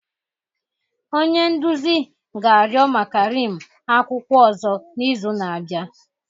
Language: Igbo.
Onye nduzi ga-arịọ maka rim akwụkwọ ọzọ n'izu na-abịa